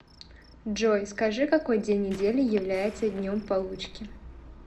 джой скажи какой день недели является днем получки